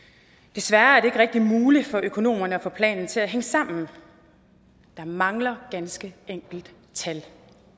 desværre er det ikke rigtig muligt for økonomerne at få planen til at hænge sammen der mangler ganske enkelt tal